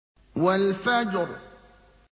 وَالْفَجْرِ